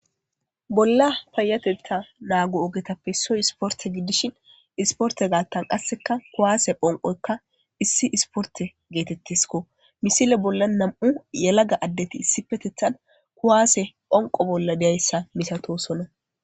bolla payatetta naagu ogetappe issoy isporte giddishin isporte gaattan qasseka kuwaase phonqoykka issi isporte geetettisko misile bolla nam7u yalaga addeti issi petethan kuwaase phonqo bolla deyayssa misatosona